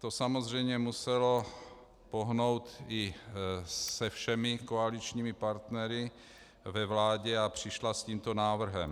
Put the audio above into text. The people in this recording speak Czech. To samozřejmě muselo pohnout i se všemi koaličními partnery ve vládě, takže přišla s tímto návrhem.